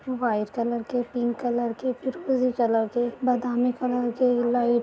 white colour के pink colour के फिरोज़ी कलर के बादामी कलर के लाइट --